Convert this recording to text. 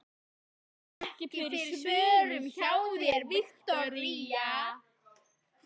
Ég sit ekki fyrir svörum hjá þér, Viktoría.